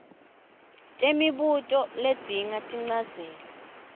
temibuto ledzinga tinchazelo